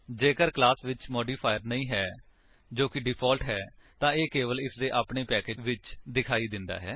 ਜੇਕਰ ਕਲਾਸ ਵਿੱਚ ਮਾਡਿਫਾਇਰ ਨਹੀਂ ਹੈ ਜੋ ਕਿ ਡਿਫਾਲਟ ਹੈ ਤਾਂ ਇਹ ਕੇਵਲ ਇਸਦੇ ਆਪਣੇ ਪੈਕੇਜ ਵਿੱਚ ਦਿਖਾਈ ਦਿੰਦਾ ਹੈ